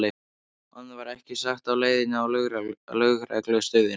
Annað var ekki sagt á leiðinni á lögreglustöðina.